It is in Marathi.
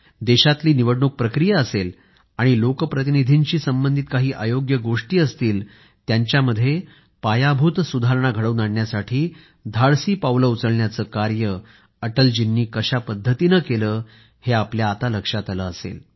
देशातली निवडणूक प्रक्रिया असेल आणि लोकप्रतिनिधींशी संबंधित काही अयोग्य गोष्टी असतील त्यांच्यामध्ये पायाभूत सुधारणा घडवून आणण्यासाठी धाडसी पावलं उचलण्याचं कार्य अटलजींनी कशा पद्धतीनं केलं हे आपल्या आता लक्षात आलं असेल